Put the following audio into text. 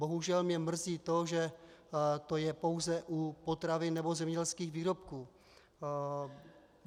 Bohužel mě mrzí to, že to je pouze u potravin nebo zemědělských výrobků.